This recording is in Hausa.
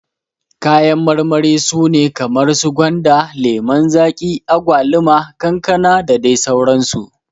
Kayan marmari su ne kamar su gwanda, lemon zaki, agwaluma, kankana dadai sauran su.